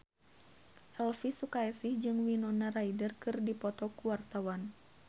Elvy Sukaesih jeung Winona Ryder keur dipoto ku wartawan